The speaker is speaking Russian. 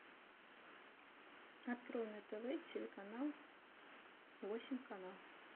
открой на тв телеканал восемь канал